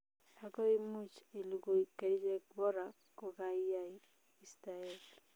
Ago imuch iligui kerichek bora kokaiyai istaet